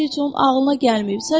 Bu fikir heç onun ağlına gəlməyib.